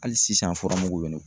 Hali sisan furamugu bɛ ne kun